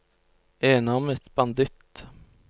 enarmet banditt